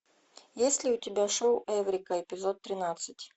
есть ли у тебя шоу эврика эпизод тринадцать